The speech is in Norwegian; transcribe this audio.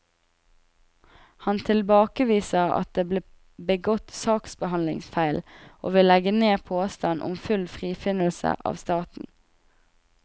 Han tilbakeviser at det ble begått saksbehandlingsfeil, og vil legge ned påstand om full frifinnelse av staten.